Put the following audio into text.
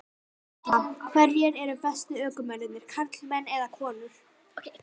Erla: Hverjir eru bestu ökumennirnir, karlmenn eða konur?